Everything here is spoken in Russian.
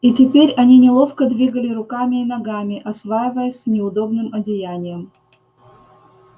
и теперь они неловко двигали руками и ногами осваиваясь с неудобным одеянием